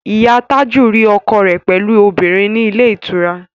Ìyá Tájù rí ọkọ rẹ̀ pẹ̀lú obìnrin ní ilé ìtura